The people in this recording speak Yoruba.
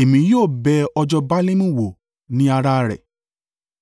Èmi yóò bẹ̀ ọjọ́ Baalimu wò ní ara rẹ̀